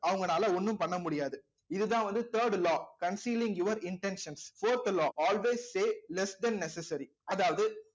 அவங்கனால ஒண்ணும் பண்ண முடியாது இதுதான் வந்து third law concealing your intentions fourth law always say less then necessary